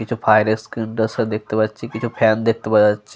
কিছু fire extinguisher দেখতে পাচ্ছি কিছু ফ্যান দেখতে পাওয়া যাচ্ছে।